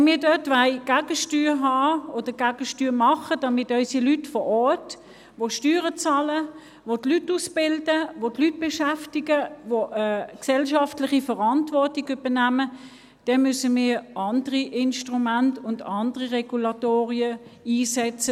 Wenn wir dort Gegensteuer geben und unseren Handel vor Ort stärken wollen, unsere Leute vor Ort, die Steuern bezahlen, Leute ausbilden, Leute beschäftigen und eine gesellschaftliche Verantwortung übernehmen, dann müssen wir andere Instrumente und andere Regulatoren einsetzen.